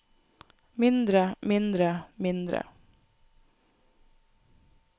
mindre mindre mindre